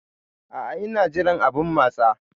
A'a, ina jiran abun matsa.